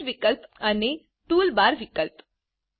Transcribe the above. Resetવિકલ્પ અને tool bar વિકલ્પ